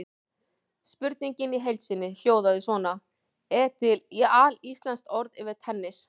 Spurningin í heild sinni hljóðaði svona: Er til alíslenskt orð yfir tennis?